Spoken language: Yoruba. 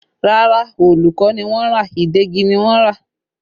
Rárá, òòlù kọ́ ni wọ́n rà, ìdegi ni wọ́n rà